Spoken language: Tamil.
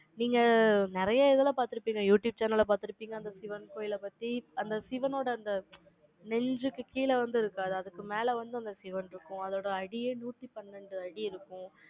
நீங்க, நிறைய இதுல பார்த்திருப்பீங்க. youtube channel அ பார்த்திருப்பீங்க. அந்த சிவன் கோயிலை பத்தி. அந்த சிவனோட அந்த, நெஞ்சுக்கு கீழே வந்து இருக்காது. அதுக்கு மேல வந்து, அந்த சிவன் இருக்கும். அதோட அடியே நூத்தி பன்னெண்டு அடி இருக்கும்.